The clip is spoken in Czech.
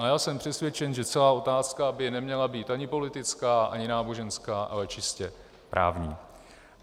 A já jsem přesvědčen, že celá otázka by neměla být ani politická, ani náboženská, ale čistě právní.